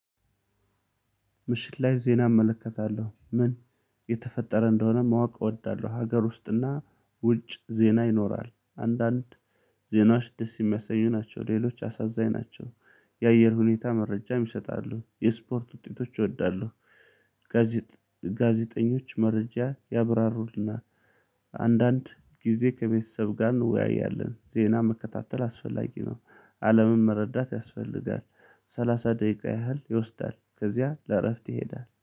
ምሽት ላይ ዜና እመለከታለሁ ምን የተፈጠረ እንደሆነ ማወቅ እወዳለሁ። ሀገር ውስጥና ውጭ ዜና ይኖራል አንዳንድ ዜናዎች ደስ የሚያሰኙ ናቸው። ሌሎች አሳዛኝ ናቸው። የአየር ሁኔታ መረጃም ይሰጣሉ የስፖርት ውጤቶች እወዳለሁ። ጋዜጠኞች መረጃ ያብራሩልናል። አንዳንድ ጊዜ ከቤተሰብ ጋር እንወያያለን። ዜና መከታተል አስፈላጊ ነው። አለምን መረዳት ያስፈልጋል። ሰላሳ ደቂቃ ያህል ይወስዳል ከዚያ ለእረፍት ይሄዳል